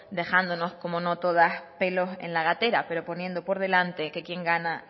dejándonos como no todas pelos en la gatera pero poniendo por delante que quien gana